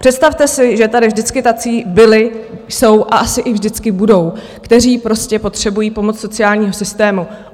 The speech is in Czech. Představte si, že tady vždycky tací byli, jsou a asi i vždycky budou, kteří prostě potřebují pomoc sociálního systému.